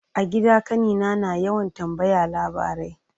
A gida kanina na yawan tambaya labarai.